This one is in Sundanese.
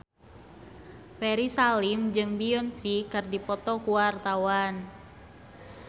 Ferry Salim jeung Beyonce keur dipoto ku wartawan